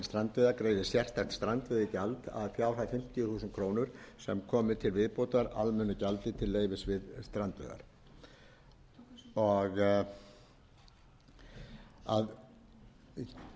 þúsund krónur sem komi til viðbótar almennu gjaldi til leyfis við strandveiðar gert er ráð fyrir að tekjum af strandveiðigjaldinu renni til þeirra hafna landsins þar sem afli sem fenginn er við strandveiðar